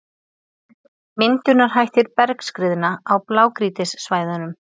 Myndunarhættir bergskriðna á blágrýtissvæðunum.